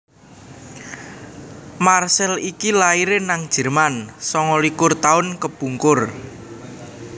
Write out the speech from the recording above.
Marcel iki laire nang Jerman sanga likur tahun kepungkur